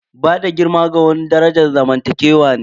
Bada girma ga wani daraja zamantakewa ne.